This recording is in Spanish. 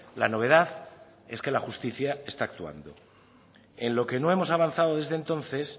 la novedad es que la justicia está actuando en lo que no hemos avanzado desde entonces